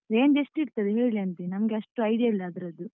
Range ಎಷ್ಟು ಇರ್ತದೆ ಹೇಳಿ ಅಂತೆ, ನಂಗೆ ಅಷ್ಟು idea ಇಲ್ಲ ಅದ್ರದ್ದು.